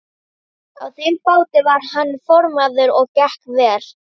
Á þeim báti var hann formaður og gekk vel.